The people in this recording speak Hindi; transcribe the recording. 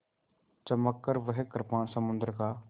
चमककर वह कृपाण समुद्र का